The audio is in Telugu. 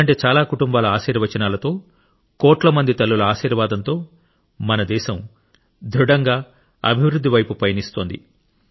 ఇలాంటి చాలా కుటుంబాల ఆశీర్వచనాలతో కోట్ల మంది తల్లుల ఆశీర్వాదంతో మన దేశం దృఢంగా అభివృద్ధి వైపు పయనిస్తోంది